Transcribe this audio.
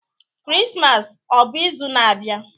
Krismas ọ bụ izu na-abịa?